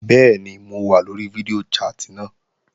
Bẹ́ẹ̀ni mo wà lóri fídíò chat náà